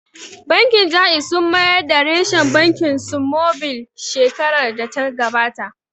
Bankin Jaiz sun mayar da reshen bankin su mobil shekarar da ta gabata